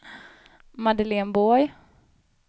Madeleine Borg